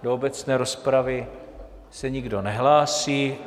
Do obecné rozpravy se nikdo nehlásí.